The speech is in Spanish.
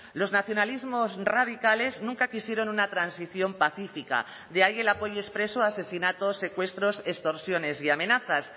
los nacionalismos radicales nunca quisieron una transición pacífica de ahí el apoyo expreso a asesinatos secuestros extorsiones y amenazas